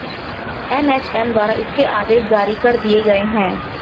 NHM द्वारा इसके आदेश जारी कर दिए गए हैं